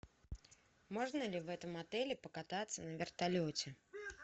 можно ли в этом отеле покататься на вертолете